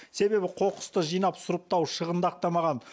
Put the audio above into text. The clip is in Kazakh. себебі қоқысты жинап сұрыптау шығынды ақтамаған